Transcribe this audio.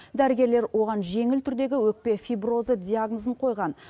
дәрігерлер оған жеңіл түрдегі өкпе фиброзы диагнозын қойған